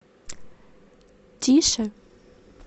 тише